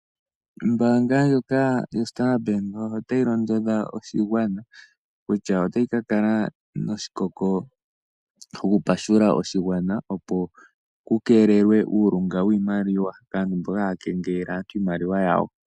Ombaanga ndjoka yo Standard Bank otayi londodha oshigwana kutya, otayi ka kala noshikako sho kupashula oshigwana. Opo ku keelelwe eyako lyo shimaliwa , kaantu mboka haya kengelele aantu iimaliwa yawo.